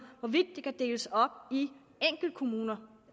hvorvidt kan deles op i enkeltkommuner